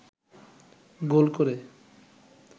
গোল করে